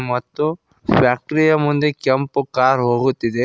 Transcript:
ಮತ್ತು ಫ್ಯಾಕ್ಟರಿ ಯ ಮುಂದೆ ಕೆಂಪು ಕಾರು ಹೋಗುತ್ತಿದೆ.